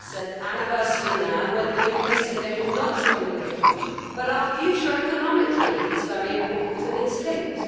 It is the anniversary now of when the UK said they would not join the euro, but our future economically is very important and it is linked.